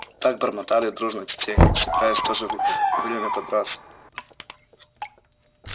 так бормотали дружно тетерева собираясь в то же время подраться